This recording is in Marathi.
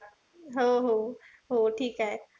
हो हो हो ठीके.